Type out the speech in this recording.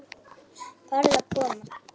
Farðu að koma.